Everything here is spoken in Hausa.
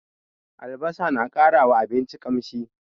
Albasa na ƙara wa abinci ƙamshi.